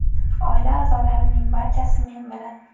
Oila a’zolarimning barchasi men bilan.